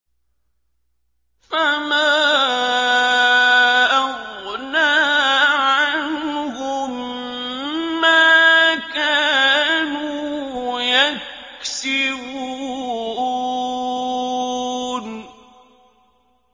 فَمَا أَغْنَىٰ عَنْهُم مَّا كَانُوا يَكْسِبُونَ